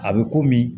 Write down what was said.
A bɛ komi